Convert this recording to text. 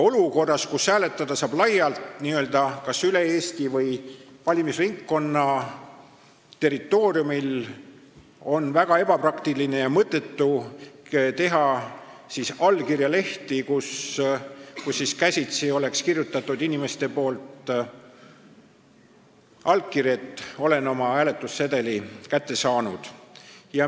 Olukorras, kus hääletada saab n-ö laialt kas üle Eesti või valimisringkonna territooriumil, on väga ebapraktiline ja mõttetu teha allkirjalehti, kuhu inimene on käsitsi kirjutanud oma allkirja selle kohta, et ta on oma hääletussedeli kätte saanud.